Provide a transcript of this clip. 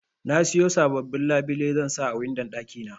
Nasiyo sababbin labile zansa a windon ɗaki na.